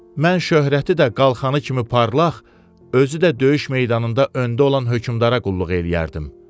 Mən şöhrəti də qalxanı kimi parlaq, özü də döyüş meydanında öndə olan hökmdara qulluq eləyərdim.